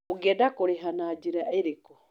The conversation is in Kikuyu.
Ũngĩenda kũrĩha na njĩra ĩrĩkũ?